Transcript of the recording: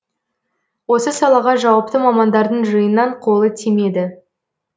осы салаға жауапты мамандардың жиыннан қолы тимеді